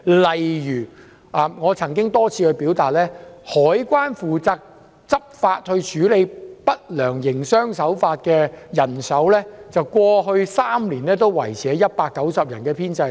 例如我曾多次表達意見，指香港海關負責執法處理不良營商手法的編制，過去3年也維持在190人，人手未曾增加。